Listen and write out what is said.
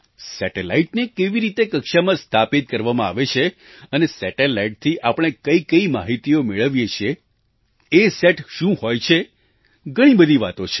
સેટેલાઇટને કેવી રીતે કક્ષામાં સ્થાપિત કરવામાં આવે છે અને સેટેલાઇટથી આપણે કઈ કઈ માહિતીઓ મેળવીએ છીએ અસત શું હોય છે ઘણી બધી વાતો છે